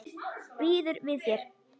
Býður við þér.